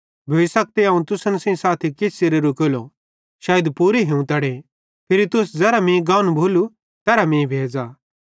भोइ सकते अवं तुसन सेइं साथी किछ च़िरे रुकेलो शैइद पूरे हिवतड़ो फिरी तुस ज़ेरां मीं गानू भोलू तेरहां मीं भेज़ां